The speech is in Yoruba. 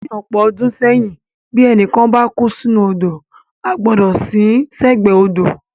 Ní ọ̀pọ̀ ọdún sẹ́yìn, bí ẹnì kan bá kú sínú odò, a gbọ́dọ̀ sin ín sẹ́gbẹ̀ẹ́ odò.